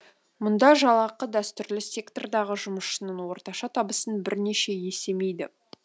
мұнда жалақы дәстүрлі сектордағы жұмысшының орташа табысын бірнеше есемейді